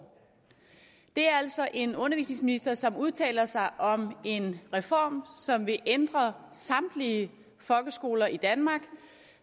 det er altså en undervisningsminister som udtaler sig om en reform som vil ændre samtlige folkeskoler i danmark